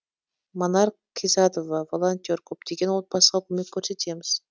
манар қизатова волонтер көптеген отбасыға көмек көрсетеміз